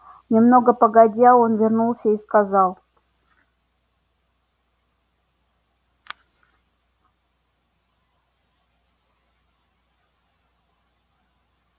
немного погодя он вернулся и сказал